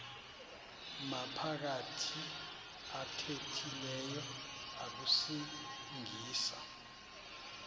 maphakathi athethileyo akusingisa